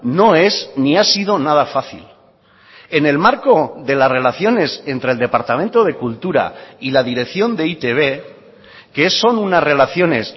no es ni ha sido nada fácil en el marco de las relaciones entre el departamento de cultura y la dirección de e i te be que son unas relaciones